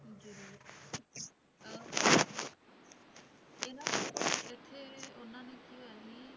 ਜ਼ਰੂਰ ਅਹ ਇਹ ਨਾ ਇੱਥੇ ਉਹਨਾਂ ਨੂੰ ਕੀ ਹੋਇਆ ਸੀ,